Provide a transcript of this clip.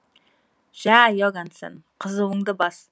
жә иогансен қызуыңды бас